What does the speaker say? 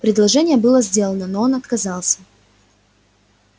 предложение было сделано но он отказался